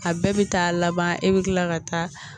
A bɛɛ bɛ taa laban e bɛ kila ka taa